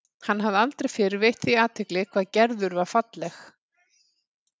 Hann hafði aldrei fyrr veitt því athygli hvað Gerður var falleg.